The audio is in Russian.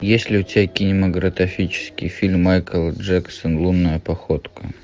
есть ли у тебя кинематографический фильм майкл джексон лунная походка